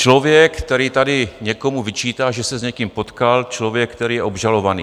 Člověk, který tady někomu vyčítá, že se s někým potkal, člověk, který je obžalovaný.